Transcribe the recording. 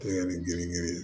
Kule ni girin girin